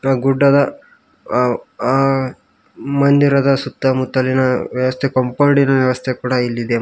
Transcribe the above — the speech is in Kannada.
ಮತ್ತ ಗುಡ್ಡದ ಅ ಅ ಮಂದಿರದ ಸುತ್ತಮುತ್ತಲಿನ ವ್ಯವಸ್ಥೆ ಕಾಂಪೌಂಡಿನ ವ್ಯವಸ್ಥೆ ಕೂಡ ಇಲ್ಲಿದೆ ಮ--